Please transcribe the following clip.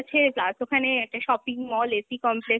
আছে plus ওখানে একটা shopping mall, AC complex